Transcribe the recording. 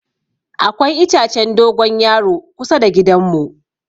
Akwai itacen dogon yaro kusa da gidan mu.